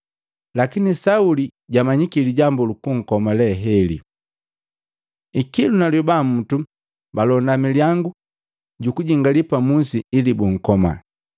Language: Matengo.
Lakini Sauli jamanyiki lijambu lukunkoma leheli. Ikilu na lyoba mutu balonda milyangu gukujingali pa musi ili bunkoma.